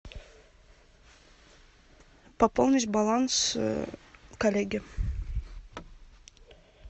пополнить баланс коллеге